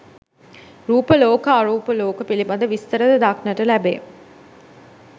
රූප ලෝක, අරූප ලෝක, පිළිබඳ විස්තර ද දක්නට ලැබේ.